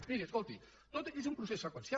miri escolti tot és un procés seqüencial